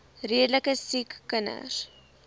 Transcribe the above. redelike siek kinders